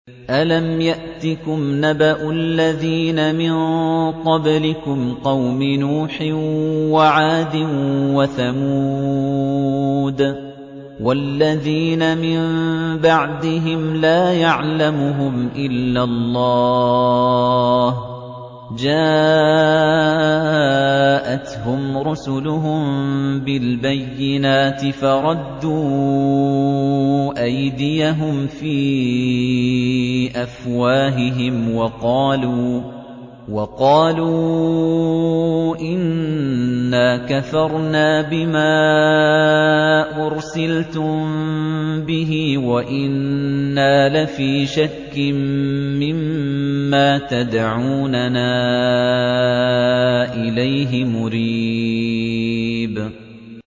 أَلَمْ يَأْتِكُمْ نَبَأُ الَّذِينَ مِن قَبْلِكُمْ قَوْمِ نُوحٍ وَعَادٍ وَثَمُودَ ۛ وَالَّذِينَ مِن بَعْدِهِمْ ۛ لَا يَعْلَمُهُمْ إِلَّا اللَّهُ ۚ جَاءَتْهُمْ رُسُلُهُم بِالْبَيِّنَاتِ فَرَدُّوا أَيْدِيَهُمْ فِي أَفْوَاهِهِمْ وَقَالُوا إِنَّا كَفَرْنَا بِمَا أُرْسِلْتُم بِهِ وَإِنَّا لَفِي شَكٍّ مِّمَّا تَدْعُونَنَا إِلَيْهِ مُرِيبٍ